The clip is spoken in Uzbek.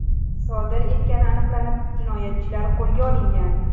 sodir etgani aniqlanib, jinoyatchilar qo‘lga olingan.